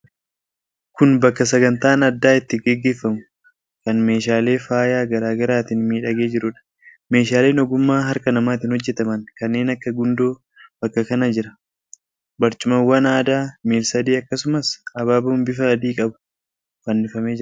Kun bakka sagantaan addaa itti gaggeeffamu kan meeshaalee faayaa garaa garaatiin miidhagee jiruudha. Meeshaaleen ogummaa harka namaatiin hojjetaman kanneen akka gundoo bakka kana jira. Barcumawwan aadaa miila-sadee akkasumas, abaaboon bifa adii qabutu fannifamee jira.